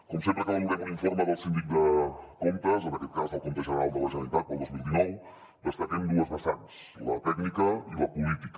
com sempre que valorem un informe de la sindicatura de comptes en aquest cas del compte general de la generalitat per al dos mil dinou destaquem dues vessants la tècnica i la política